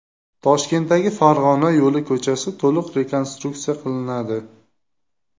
Toshkentdagi Farg‘ona yo‘li ko‘chasi to‘liq rekonstruksiya qilinadi.